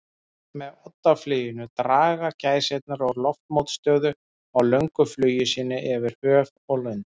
Með oddafluginu draga gæsirnar úr loftmótstöðu á löngu flugi sínu yfir höf og lönd.